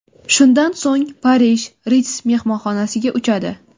Shundan so‘ng Parij, Ritz mehmonxonasiga uchadi.